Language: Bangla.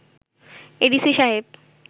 এডিসি সাহেব